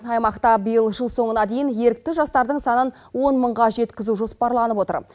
аймақта биыл жыл соңына дейін ерікті жастардың санын он мыңға жеткізу жоспарланып отыр